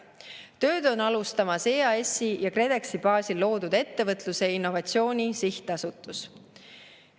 Tööd on alustamas EAS-i ja KredExi baasil loodud Ettevõtluse ja Innovatsiooni Sihtasutus.